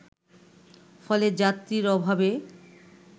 ফলে যাত্রীর অভাবে